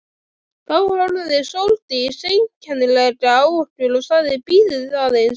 Þá horfði Sóldís einkennilega á okkur og sagði: Bíðið aðeins